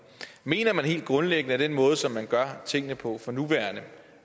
mener man helt grundlæggende at den måde som vi gør tingene på for nuværende